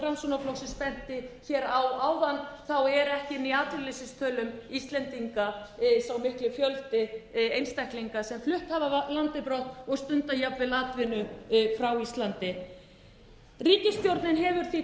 framsóknarflokksins benti hér á áðan er ekki inni í atvinnuleysistölum íslendinga sá mikli fjöldi einstaklinga sem flutt hafa af landi brott og stunda jafnvel atvinnu frá íslandi ríkisstjórnin hefur því